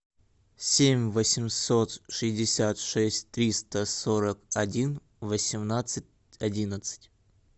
семь восемьсот шестьдесят шесть триста сорок один восемнадцать одиннадцать